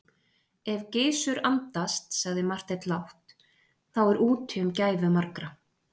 Ef Gizur andast, sagði Marteinn lágt,-þá er úti um gæfu margra.